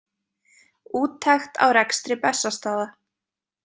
Úttekt á rekstri Bessastaða.